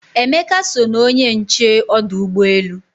Emeka so na onye nche ọdụ ụgbọ elu